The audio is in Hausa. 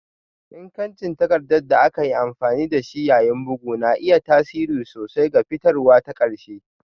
Ingancin takarda da aka yi amfani da shi yayin bugu na iya tasiri sosai ga fitarwa ta ƙarshe